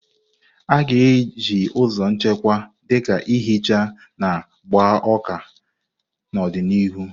A ga-eji ụzọ nchekwa, dị ka ihicha na gbaa ụka, n'ọdịnihu.